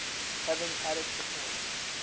having added support